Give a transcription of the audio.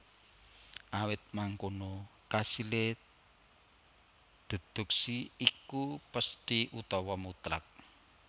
Awit mangkono kasilé déduksi iku pesthi utawa mutlak